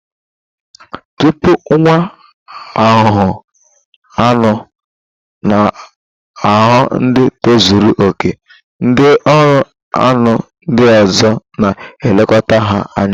Tupu nwa ahuhu aṅụ na-aghọ ndị tozuru okè ndị ọrụ aṅụ ndị ọzọ na elekota ha anya